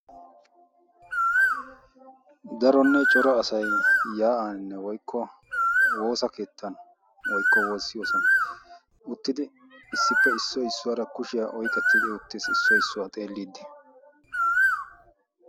daronne cora asay yaa'aaninne woykko woosa keettan woykko woossiyoosan uttidi issippe issoy issuwaara kushiyaa oyqettidi utteessi issoy issuwaa xeelliiddi